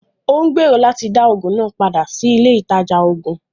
Ó ń gbèrò láti dá Ògùn náà padà sí ilé ìtajà oògùn